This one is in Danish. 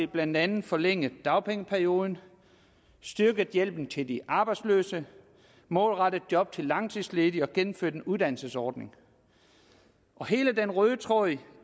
blandt andet forlænget dagpengeperioden styrket hjælpen til de arbejdsløse målrettet job til langtidsledige og gennemført en uddannelsesordning og hele den røde tråd i